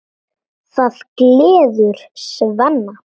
Það gleður Svenna.